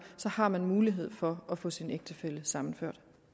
har man mulighed for at få sin ægtefælle sammenført